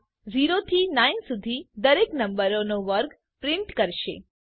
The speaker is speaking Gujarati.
આ 0 થી 9 સુધી દરેક નંબરનો વર્ગ પ્રિન્ટ કરશે